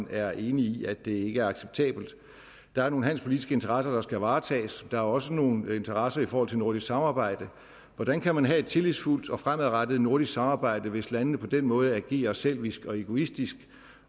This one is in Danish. er enig i at det ikke er acceptabelt der er nogle handelspolitiske interesser der skal varetages der er også nogle interesser i forhold til nordisk samarbejde hvordan kan man have et tillidsfuldt og fremadrettet nordisk samarbejde hvis landene på den måde agerer selvisk og egoistisk